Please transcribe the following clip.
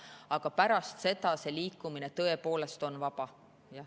Aga pärast seda on see liikumine tõepoolest vaba.